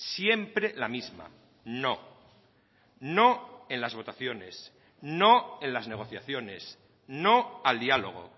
siempre la misma no no en las votaciones no en las negociaciones no al diálogo